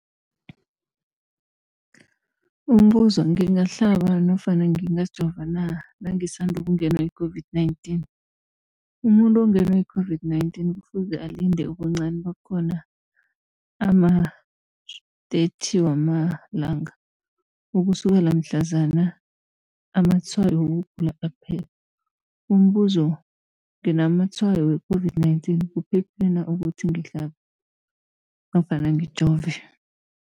Umbuzo, ngingahlaba nofana ngingajova na nangisandu kungenwa yi-COVID-19? Umuntu ongenwe yi-COVID-19 kufuze alinde ubuncani bakhona ama-30 wama langa ukusukela mhlazana amatshayo wokugula aphela. Umbuzo, nginamatshayo we-COVID-19, kuphephile na ukuthi ngihlabe nofana ngijove?